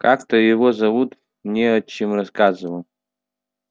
как-то его зовут мне отчим рассказывал